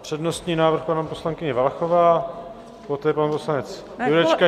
Přednostní návrh - paní poslankyně Valachová, poté pan poslanec Jurečka.